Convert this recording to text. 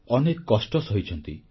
ଅନେକ କଷ୍ଟ ସହିଛନ୍ତି